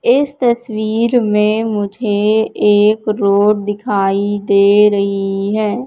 इस तस्वीर में मुझे एक रोड दिखाई दे रही है।